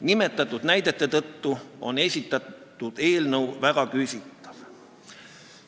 Nimetatud näidete tõttu on esitatud eelnõu väga küsitav.